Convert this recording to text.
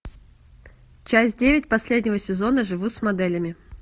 часть девять последнего сезона живу с моделями